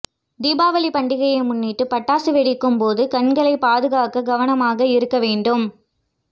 தீபாவளி பண்டிகையை முன்னிட்டு பட்டாசு வெடிக்கும் போது கண்களைப் பாதுகாக்க கவனமாக இருக்க வேண்டும்